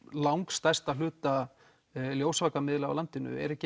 langstærsta hluta ljósvakamiðla á landinu er ekki